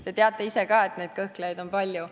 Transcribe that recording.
Te teate ise ka, et neid kõhklejaid on palju.